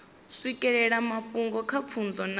swikelela mafhungo nga pfunzo na